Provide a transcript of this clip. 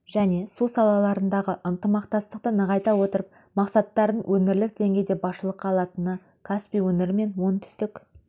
және су салаларындағы ынтымақтастықты нығайта отырып мақсаттарын өңірлік деңгейде басшылыққа алатыны каспий өңірі мен оңтүстік